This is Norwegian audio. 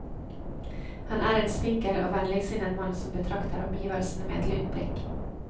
Han er en spinkel og vennligsinnet mann som betrakter omgivelsene med et lunt blikk.